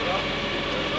Yoxdur.